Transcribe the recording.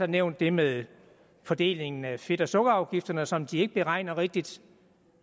nævnt det med fordelingen af fedt og sukkerafgifterne som de ikke beregner rigtigt